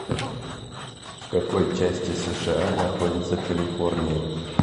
в какой части сша находится калифорния